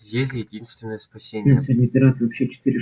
зелье единственное спасение